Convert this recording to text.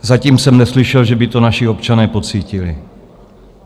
Zatím jsem neslyšel, že by to naši občané pocítili.